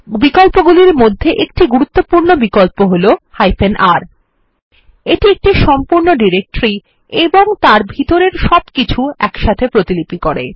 বিকল্প গুলির মধ্যে একটি গুরুত্বপূর্ণ বিকল্প হল R এটি একটি সম্পূর্ণ ডিরেক্টরি ও তার ভিতরের সবকিছু একসাথে প্রতিলিপি করে